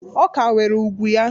Ọ ka nwere ugwu ya